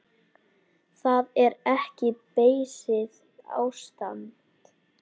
Það er ekki beysið ástand.